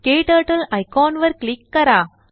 KTurtleआयकॉनवर click करा